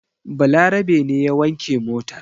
Balarabe ne ya wanke motar.